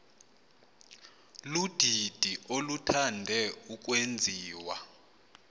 ludidi oluthande ukwenziwa